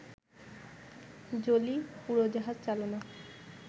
Jolie উড়োজাহাজ চালনা